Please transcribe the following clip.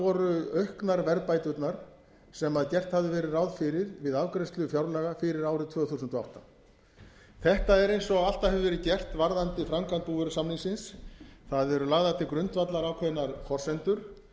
voru auknar verðbæturnar sem gert hafði verið ráð fyrir við afgreiðslu fjárlaga fyrir árið tvö þúsund og átta þetta er eins og alltaf hefur verið gert varðandi framkvæmd búvörusamningsins það eru lagðar til grundvallar ákveðnar forsendur